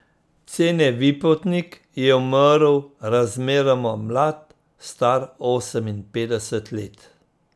Cene Vipotnik je umrl razmeroma mlad, star oseminpetdeset let.